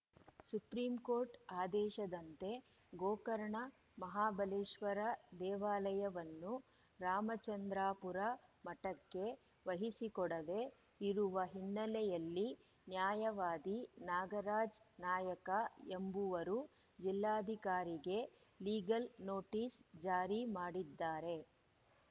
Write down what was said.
Supreme Court ಆದೇಶದಂತೆ ಗೋಕರ್ಣ ಮಹಾಬಲೇಶ್ವರ ದೇವಾಲಯವನ್ನು ರಾಮಚಂದ್ರಾಪುರ ಮಠಕ್ಕೆ ವಹಿಸಿಕೊಡದೆ ಇರುವ ಹಿನ್ನೆಲೆಯಲ್ಲಿ ನ್ಯಾಯವಾದಿ ನಾಗರಾಜ ನಾಯಕ ಎಂಬುವರು ಜಿಲ್ಲಾಧಿಕಾರಿಗೆ ಲೀಗಲ್‌ ನೋಟಿಸ್‌ ಜಾರಿ ಮಾಡಿದ್ದಾರೆ